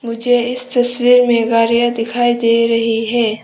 मुझे इस तस्वीर में गाड़िया दिखाई दे रही हैं।